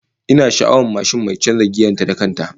Ina sha'awar mashin mai canza giyar ta da kan ta